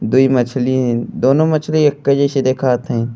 दूई मछली हईन। दोनों मछली एके जइसन देखात हईन।